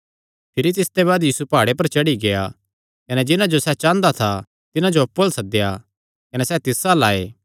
भिरी तिसते बाद यीशु प्हाड़े पर चढ़ी गेआ कने जिन्हां जो सैह़ चांह़दा था तिन्हां जो अप्पु अल्ल सद्देया कने सैह़ तिस अल्ल आये